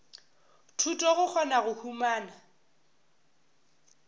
thuto go kgona go humana